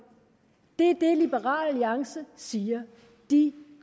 det er det liberal alliance siger de